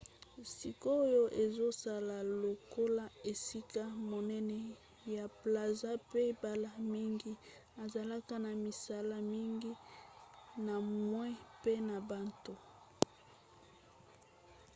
sikoyo ezosala lokola esika monene ya plaza mpe mbala mingi ezalaka na misala mingi na moi pe na butu